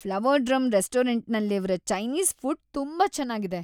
Flower Drum ರೆಸ್ಟೋರೆಂಟ್ನಲ್ಲಿರ್ವ Chinese food ತುಂಬಾ ಚೆನ್ನಾಗಿದೆ.